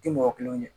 Tɛ mɔgɔ kelenw ye